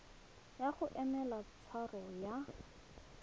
ya go emela tshwaro ya